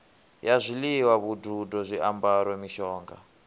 ya zwiḽiwa vhududo zwiambaro mishonga